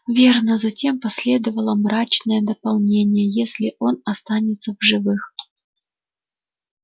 верно затем последовало мрачное дополнение если он останется в живых